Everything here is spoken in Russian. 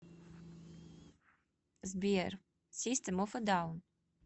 сбер систем оф э даун